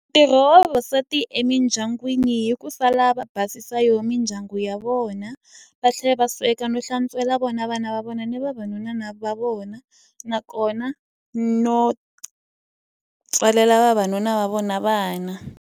Ntirho wa vavasati emidyangwini i ku sala va basisa yo mindyangu ya vona, va tlhela va sweka no hlantswela vona vana va vona ni vavanuna va vona. Nakona no tswalela vavanuna va vona vana.